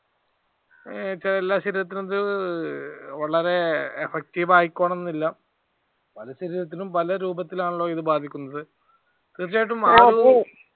വളരെ effective ആയിക്കോണംന്നില്ല. പല ശരീരത്തിലും പല രൂപത്തിൽ ആണല്ലോ ഇത് ബാധിക്കുന്നത്. തീർച്ചയായിട്ടും